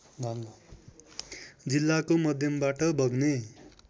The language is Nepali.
जिल्लाको मध्यमबाट बग्ने